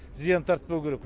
зиян тартпау керек